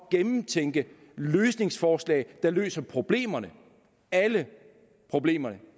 gennemtænke løsningsforslag der løser problemerne alle problemerne